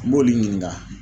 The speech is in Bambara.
N b'olu ɲininka.